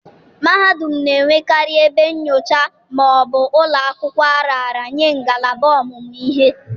mahadum na-enwekarị ebe nyocha ma ọ bụ ụlọ akwụkwọ a raara nye ngalaba ọmụmụ ihe